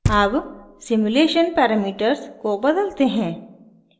अब simulation parameters को बदलते हैं